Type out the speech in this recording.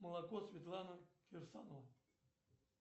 молоко светлана кирсанова